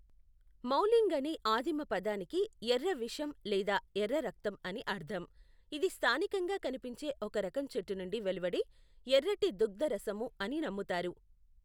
మౌలింగ్ అనే ఆదిమ పదానికి ఎర్ర విషం లేదా ఎర్ర రక్తం అని అర్ధం, ఇది స్థానికంగా కనిపించే ఒక రకం చెట్టు నుండి వెలువడే ఎర్రటి దుగ్ధ రసము అని నమ్ముతారు.